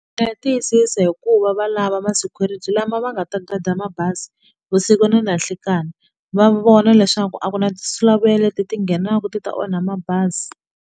Ta tiyisisa hikuva va lava ma security lama va nga ta gada mabazi vusiku na nanhlikani va vona leswaku a ku na tinsulavoya leti ti nghenaka ti ta onha mabazi.